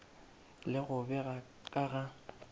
le go bega ka ga